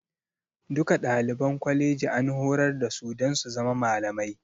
Duka ɗaliban kwaleji an horar da su dan su zama malamai